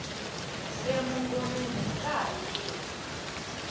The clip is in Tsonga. e mungomeni aka ha yiwi